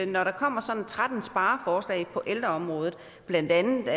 når der kommer sådan tretten spareforslag på ældreområdet blandt andet